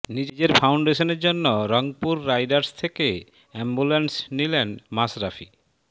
নিজের ফাউন্ডেশনের জন্য রংপুর রাইডার্স থেকে অ্যাম্বুলেন্স নিলেন মাশরাফি